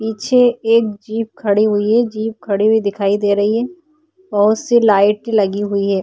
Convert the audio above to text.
पीछे एक जिप खड़ी हुई है जीप खड़ी हुई दिखाई दे रही है बहुत सी लाइट लगी हुई है।